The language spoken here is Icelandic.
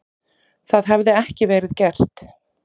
Það hefði ekki verið gert.